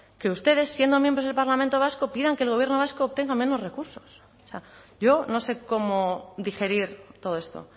que ustedes siendo miembros del parlamento vasco pidan que el gobierno vasco tenga menos recursos o sea yo no sé cómo digerir todo esto